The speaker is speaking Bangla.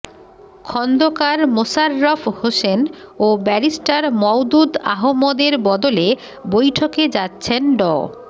খন্দকার মোশাররফ হোসেন ও ব্যারিস্টার মওদুদ আহমদের বদলে বৈঠকে যাচ্ছেন ড